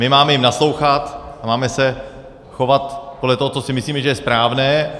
My jim máme naslouchat a máme se chovat podle toho, co si myslíme, že je správné.